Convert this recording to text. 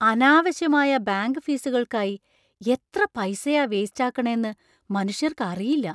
അനാവശ്യമായ ബാങ്ക് ഫീസുകൾക്കായി എത്ര പൈസയാ വേസ്റ്റ് ആക്കണേന്ന് മനുഷ്യര്‍ക്ക് അറിയില്ല..